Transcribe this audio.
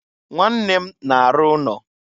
Nwanne m na-arụ ụnọ.